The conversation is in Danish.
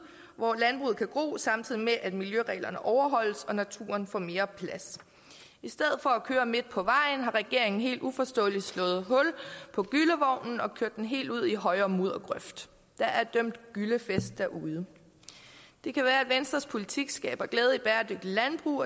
hvor landbruget kan gro samtidig med at miljøreglerne overholdes og naturen får mere plads i stedet for at køre midt på vejen har regeringen helt uforståeligt slået hul på gyllevognen og kørt den helt ud i højre muddergrøft der er dømt gyllefest derude det kan være at venstres politik skaber glæde i bæredygtigt landbrug